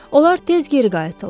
Onlar tez geri qayıtdılar.